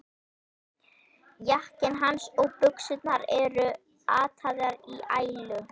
Jakkinn hans og buxurnar eru ataðar í ælu.